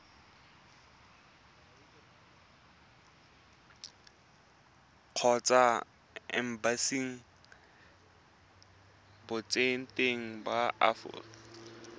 kgotsa embasing botseteng ba aforika